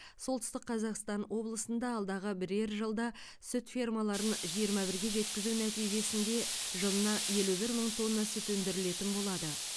солтүстік қазақстан облысында алдағы бірер жылда сүт фермаларын жиырма бірге жеткізу нәтижесінде жылына елу бір мың тонна сүт өндірілетін болады